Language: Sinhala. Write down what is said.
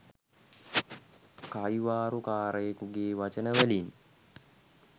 කයිවාරු කාරයෙකුගේ වචනවලින්.